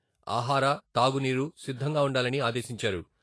ఆహార, తాగునీరు సిద్ధంగా ఉండాలని ఆదేశించారు.